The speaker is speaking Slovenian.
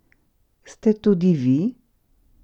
Se tudi vi?